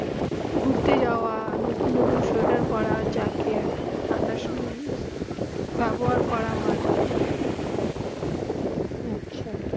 গুরতে যাওবা নূতন নূতন সোয়েটার পড়া জ্যাকেট ঠান্ডা সময়ে বেবহার করা হয়ে আচ্ছা